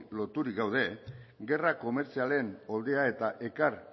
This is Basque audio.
loturik gaude gerra komertzialen eta ekar